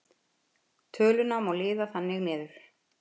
Töluna má liða þannig niður: